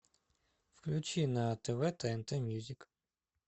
включи на тв тнт мьюзик